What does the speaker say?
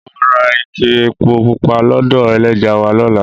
Mo ra ike epo pupa lọ́dọ̀ ẹlẹ́ja wa lọ́la.